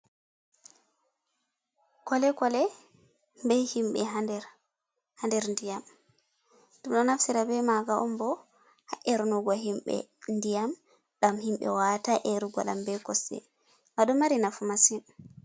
Kolekole be himɓe ha nder ndiyam ɗum ɗo naftira be maga on bo ha’ernugo himɓe ndiyam dam himɓe wawata erugo dam be kose ba ɗo mari nafu masin.